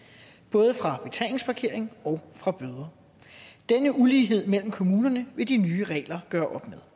både fra betalingsparkering og fra bøder denne ulighed mellem kommunerne vil de nye regler gøre